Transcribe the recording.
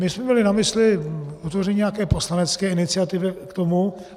My jsme měli na mysli vytvoření nějaké poslanecké iniciativy k tomu.